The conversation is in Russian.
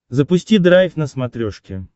запусти драйв на смотрешке